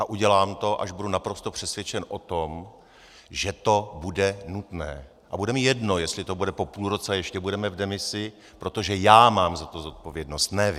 A udělám to, až budu naprosto přesvědčen o tom, že to bude nutné, a bude mi jedno, jestli to bude po půl roce a ještě budeme v demisi, protože já mám za to zodpovědnost, ne vy.